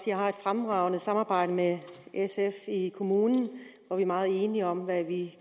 jeg har et fremragende samarbejde med sf i kommunen hvor vi er meget enige om hvad vi